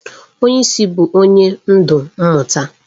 Onye isi bụ onye ndu mmụta.